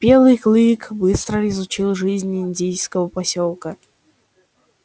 белый клык быстро изучил жизнь индейского посёлка